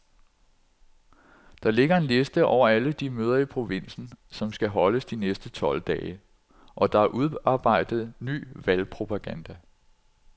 Der ligger en liste over alle de møder i provinsen, som skal holdes de næste tolv dage, og der er udarbejdet ny valgpropaganda.